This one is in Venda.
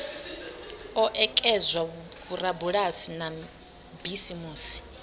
o ekedzwa vhorabulasi na bisimusi